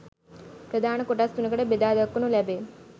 ප්‍රධාන කොටස් තුනකට බෙදා දක්වනු ලැබේ.